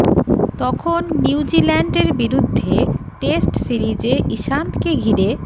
তখন New Zealand এর বিরুদ্ধে টেস্ট সিরিজে ইশান্ত কে ঘিরে